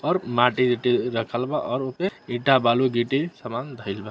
और माटी ऊटी रखल बा और उ पे ईटा बालू गिट्टी समान धेएल बा।